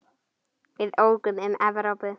Við ókum um Evrópu.